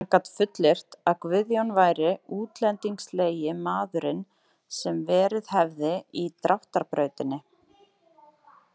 Hann gat fullyrt að Guðjón væri útlendingslegi maðurinn sem verið hefði í Dráttarbrautinni.